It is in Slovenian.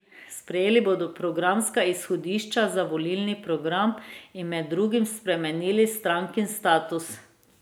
Sprejeli bodo programska izhodišča za volilni program in med drugim spremenili strankin statut.